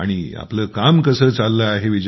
आणि आपलं काम कसं चाललं आहे